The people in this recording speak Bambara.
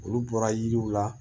Olu bɔra yiriw la